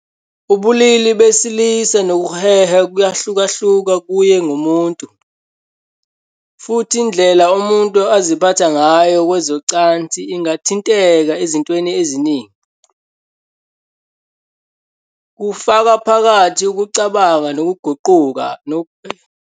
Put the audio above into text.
Ubulili besilisa nokuheha kuyahlukahluka kuye ngomuntu, futhi indlela umuntu aziphatha ngayo kwezocansi ingathinteka ezintweni eziningi, kufaka phakathi ukucabanga okuguqukayo, ubuntu, ukukhuliswa namasiko.